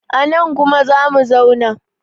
anan kuma za mu zauna!